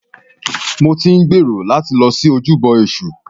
Mo ti ń gbèrò láti lọ sí ojúbọ èṣù.